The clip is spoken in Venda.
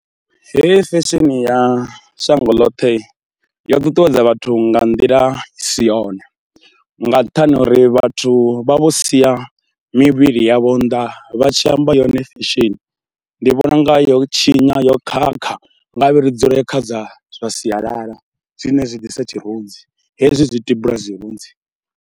Hei fesheni ya shango ḽoṱhe yo ṱuṱuwedza vhathu nga nḓila i si yone, nga nṱhani ha uri vhathu vha vho sia mivhili yavho nnḓa vha tshi amba yone fesheni. Ndi vhona u nga yo tshinya, yo khakha, nga vhe ri dzule kha dza zwa sialala zwine zwi ḓisa tshirunzi hezwi zwi tibula zwirunzi.